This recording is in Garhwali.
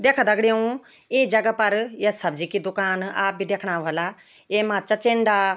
देखा दग्डियों इं जगह फर या सब्जी की दुकान आप भी दिखणा वल्ला येमा चचिंडा --